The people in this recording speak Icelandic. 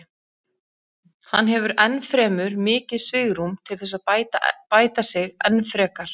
Hann hefur ennfremur mikið svigrúm til þess að bæta sig enn frekar.